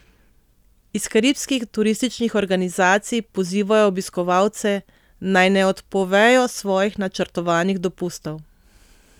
Iz karibskih turističnih organizacij pozivajo obiskovalce, naj ne odpovejo svojih načrtovanih dopustov.